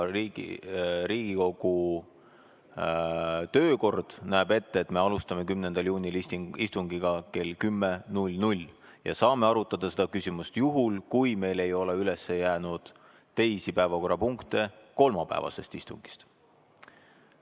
Riigikogu töökord näeb ette, et me alustame 10. juunil istungit kell 10.00 ja saame arutada seda küsimust juhul, kui meil ei ole üles jäänud teisi päevakorrapunkte kolmapäevasest istungist.